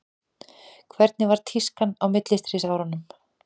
hvernig var tískan á millistríðsárunum